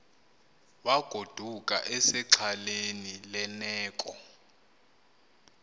wagoduka esexhaleni lerneko